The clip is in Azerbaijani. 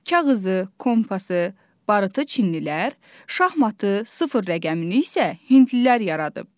Kağızı, kompas, barıtı çinlilər, şahmatı, sıfır rəqəmini isə hindlilər yaradıb.